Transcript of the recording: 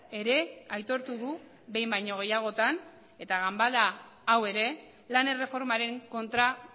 ere aitortu du behin baino gehiagotan eta ganbara hau ere lan erreformaren kontra